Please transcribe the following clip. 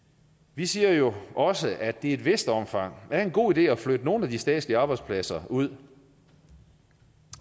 vi siger jo også at det i et vist omfang er en god idé at flytte nogle af de statslige arbejdspladser ud